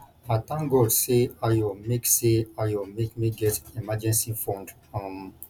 i thank god say ayo make say ayo make me get emergency fund um